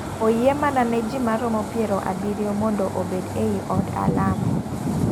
Oyie mana ne ji maromo piero abiriyo mondo obed ei od alam.